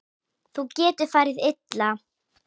Þá getur farið illa.